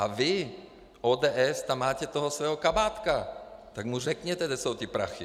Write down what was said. A vy, ODS, tam máte toho svého Kabátka, tak mu řekněte, kde jsou ty prachy!